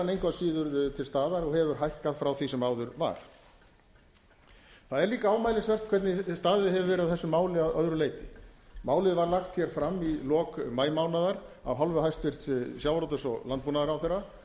að síður til staðar og hefur hækkað frá því sem áður var það er líka ámælisvert hvernig staðið hefur verið að þessu máli að öðru leyti málið var lagt hér fram í lok maímánaðar af hálfu hæstvirts sjávarútvegs og landbúnaðarráðherra og